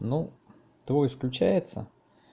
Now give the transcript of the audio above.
ну твой исключается